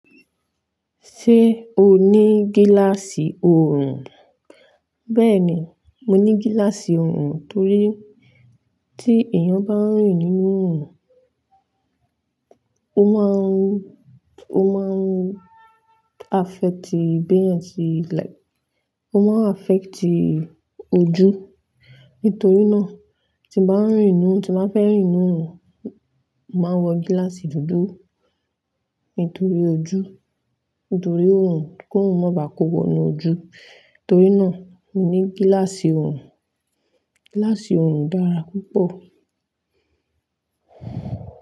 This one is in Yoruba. Ṣé o ní gíláàsì òòrùn? Bẹ́ẹ̀ ni, mo ní gíláàsì òòrùn torí tí èèyàn bá ń rìn nínú òòrùn, ó máa ń sakoba fun beeyan se n like ó máa sakoba fun ojú. Nítorí náà, tí mo bá ń rìn ninú, tí màá fẹ́ rìn ninú òòrùn, màá wọ gíláàsì dúdú. Nítorí ojú, nítorí òòrùn, kí òòrùn má bàá kówónu ojú. Torí náà, mo ní gíláàsì òòrùn. Gíláàsì òòrùn dára púpọ̀